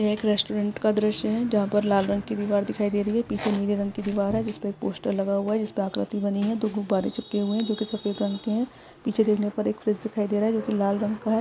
यह एक रेस्टोरेंट का दृश्य है। जहां पर लाल रंग की दीवार दिखाई दे रही है। पीछे नीले रंग की दीवार है। जिसपे पोस्टर लगा हुआ है जिसपे आकृति बनी है जिस पर दो गुब्बारे लगे हुए हैं जो कि सफ़ेद रंग के हैं। पीछे कोने पे एक फ्रिज दिखाई दे रहा है जो कि लाल रंग का है।